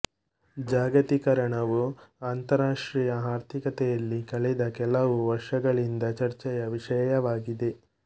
ಜಾಗತೀಕರಣವು ಅಂತರರಾಷ್ಟ್ರೀಯ ಆರ್ಥಿಕತೆಯಲ್ಲಿ ಕಳೆದ ಕೆಲವು ವರ್ಷಗಳಿಂದ ಚರ್ಚೆಯ ವಿಷಯವಾಗಿದೆ